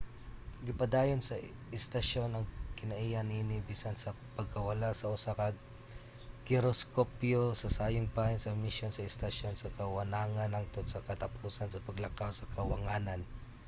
gipadayon sa istasyon ang kinaiya niini bisan sa pagkawala sa usa ka giroskopyo sa sayong bahin sa misyon sa estasyon sa kawanangan hangtod sa katapusan sa paglakaw sa kawanangan